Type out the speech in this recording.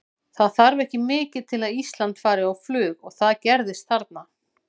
Það þarf ekki mikið til að Ísland fari á flug og það gerðist þarna.